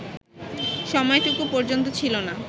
সময়টুকু পর্যন্ত ছিল না